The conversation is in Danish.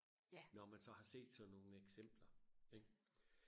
når man så har set sådan nogle eksempler ikke